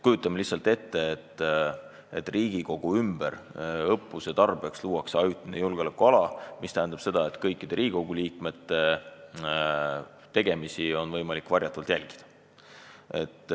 Kujutame näiteks ette, et Riigikogu hoone ümber luuakse õppuse tarbeks ajutine julgeolekuala, mis tähendaks seda, et kõikide Riigikogu liikmete tegemisi on võimalik varjatult jälgida.